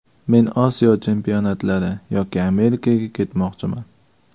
Men Osiyo chempionatlari yoki Amerikaga ketmoqchiman.